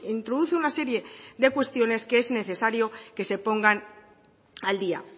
introduce una serie de cuestiones que es necesario que se pongan al día